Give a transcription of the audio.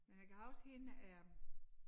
Men jeg kan huske hende øh